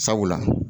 Sabula